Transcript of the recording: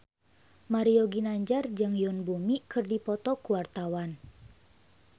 Mario Ginanjar jeung Yoon Bomi keur dipoto ku wartawan